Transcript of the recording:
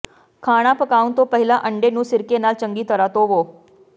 ਖਾਣਾ ਪਕਾਉਣ ਤੋਂ ਪਹਿਲਾਂ ਅੰਡੇ ਨੂੰ ਸਿਰਕੇ ਨਾਲ ਚੰਗੀ ਤਰ੍ਹਾਂ ਧੋਵੋ